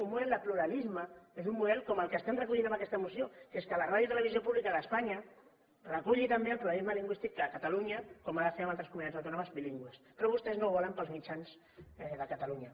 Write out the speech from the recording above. un model de pluralisme és un model com el que estem recollint en aquesta moció que és que la ràdio i televisió pública d’espanya reculli també el pluralisme lingüístic de catalunya com ha de fer amb altres comunitats autònomes bilingües però vostès no ho volen per als mitjans de catalunya